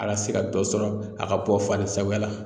A ka se ka dɔ sɔrɔ a ka bɔ faden sagoya la.